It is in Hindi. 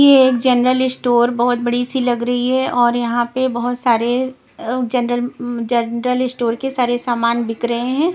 ये एक जनरल इश्टोर बहुत बड़ी सी लग रही है और यहाँ पर बहुत सारे अ हम्म जनरल म जनरल इश्टोर के सारे सामान बिक रहे हैं।